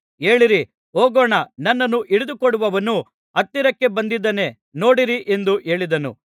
ಏಳಿರಿ ಹೋಗೋಣ ನನ್ನನ್ನು ಹಿಡಿದುಕೊಡುವವನು ಹತ್ತಿರಕ್ಕೆ ಬಂದಿದ್ದಾನೆ ನೋಡಿರಿ ಎಂದು ಹೇಳಿದನು